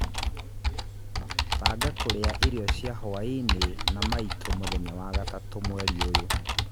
banga kũrĩa irio cia hwaĩinĩ na maitũ mũthenya wa gatatũ mweri ũyũ